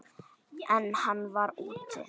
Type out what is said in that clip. En hann var úti.